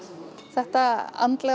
þetta andlega